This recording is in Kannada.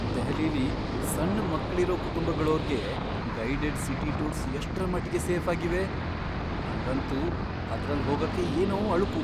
ದೆಹಲಿಲಿ ಸಣ್ ಮಕ್ಳಿರೋ ಕುಟುಂಬಗಳೋರ್ಗೆ ಗೈಡೆಡ್ ಸಿಟಿ ಟೂರ್ಸ್ ಎಷ್ಟ್ರಮಟ್ಗೆ ಸೇಫಾಗಿವೆ? ನಂಗಂತೂ ಅದ್ರಲ್ ಹೋಗಕ್ಕೆ ಏನೋ ಅಳುಕು.